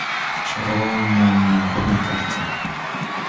шаровая молния на карте